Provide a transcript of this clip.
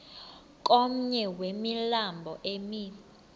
komnye wemilambo emi